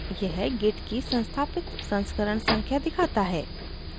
यह git की संस्थापित संस्करण संख्या दिखाता है